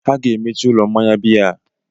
Ha ga-emechi ụlọ mmanya biya a.